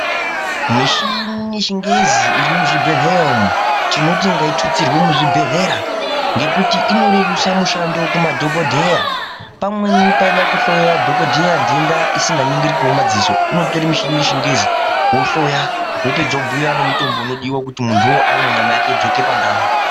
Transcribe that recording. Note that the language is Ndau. Michini yechingezi irimuzvibhedhlera umwu tinoti ngaitutsirwe muzvibhedhlera ngekuti inorerusa mushando kumadhokodheya pamweni paida kuhloya dhokodheya nhenda isikaningiriki mumadziso unotora muchini yechingezi ohloya opedza obhuya nemutombo unodiwa kuti muntu uwowo amwe nyama yake idzoke pandau.